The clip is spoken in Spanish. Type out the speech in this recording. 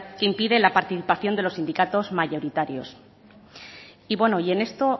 que impide la participación de los sindicatos mayoritarios y bueno en esto